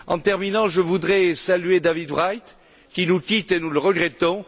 En terminant, je voudrais saluer David Wright, qui nous quitte et nous le regrettons.